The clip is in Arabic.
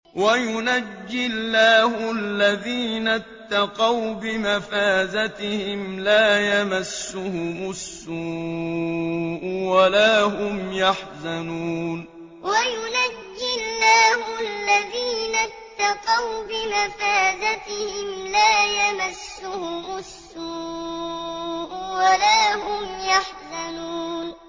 وَيُنَجِّي اللَّهُ الَّذِينَ اتَّقَوْا بِمَفَازَتِهِمْ لَا يَمَسُّهُمُ السُّوءُ وَلَا هُمْ يَحْزَنُونَ وَيُنَجِّي اللَّهُ الَّذِينَ اتَّقَوْا بِمَفَازَتِهِمْ لَا يَمَسُّهُمُ السُّوءُ وَلَا هُمْ يَحْزَنُونَ